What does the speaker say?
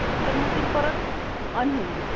तर मग ते परत अनहेल्दी.